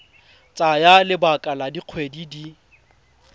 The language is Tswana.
tsaya lebaka la dikgwedi di